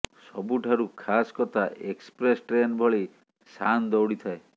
ସବୁଠାରୁ ଖାସ୍ କଥା ଏକ୍ସପ୍ରେସ୍ ଟ୍ରେନ୍ ଭଳି ଶାନ୍ ଦୌଡ଼ି ଥାଏ